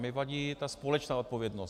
Mně vadí ta společná odpovědnost.